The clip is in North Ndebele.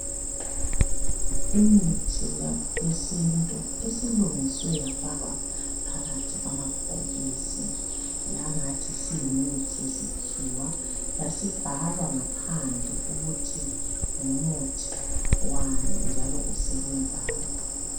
Imithi yesintu esilungiswe yafakwa phakathi kwamabhokisi yangathi siyimithi yesikhiwa yasibhalwa ngaphandle ukuthi ngumuthi wani njalo usebenzani.